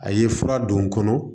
A ye fura don n kɔnɔ